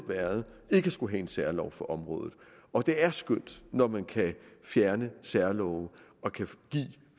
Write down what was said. været ikke at skulle have en særlov for området og det er skønt når man kan fjerne særlove og give